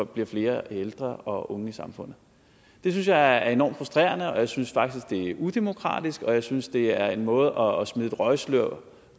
bliver flere ældre og unge i samfundet det synes jeg er enormt frustrerende og jeg synes faktisk det er udemokratisk og jeg synes det er en måde at smide et røgslør